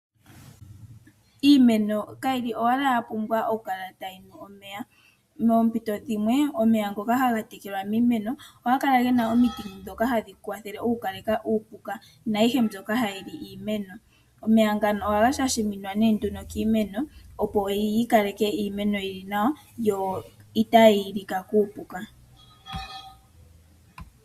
Iimeno kayi li owala ya pumbwa okukala tayi nu omeya. Moompito dhimwe omeya ngoka haga kala taga tekelwa piimeno ohaga kala ge na omiti ndhoka gadhi kwathele okukaleka uupuka naayihe mbyoka hayi li iimeno. Omeya ngano ohaga shashaminwa kiimeno, opo yi kale yi li nawa yo itaayi lika kuupuka.